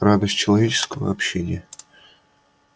радость человеческого общения